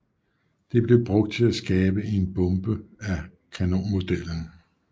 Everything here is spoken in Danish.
Det blev brugt til at skabe en en bombe af kanonmodellen